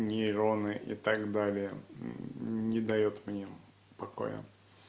нейроны и так далее не даёт мне покоя